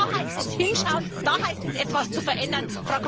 Da heißt es hinschauen, da heißt es etwas zu verändern.